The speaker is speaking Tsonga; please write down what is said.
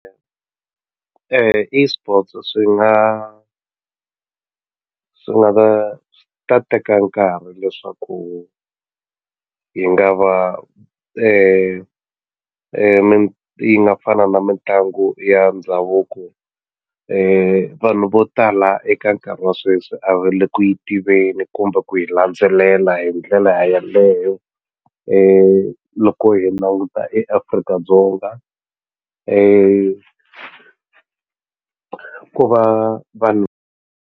ESports swi nga swi nga ta swi ta teka nkarhi leswaku yi nga va yi nga fana na mitlangu ya ndhavuko vanhu vo tala eka nkarhi wa sweswi a va le ku yi tiveni kumbe ku yi landzelela hi ndlela yaleyo loko hi languta eAfrika-Dzonga ko va vanhu.